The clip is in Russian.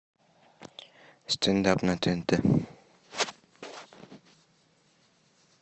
стендап на тнт